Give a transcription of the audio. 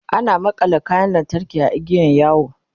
ana makalla kayan lantarki a igiyan yawo